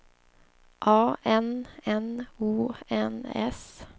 A N N O N S